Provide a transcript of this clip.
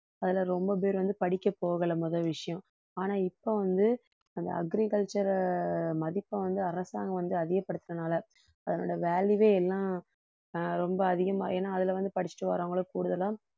அதுல ரொம்ப பேர் வந்து படிக்க போகலை முதல் விஷயம் ஆனா இப்ப வந்து அந்த agriculture அ மதிப்பை வந்து அரசாங்கம் வந்து அதிகப்படுத்தினதால அதனோட value வே எல்லாம் ஆஹ் ரொம்ப அதிகமா ஏன்னா அதில வந்து படிச்சுட்டு வர்றவங்களுக்கு கூடுதலா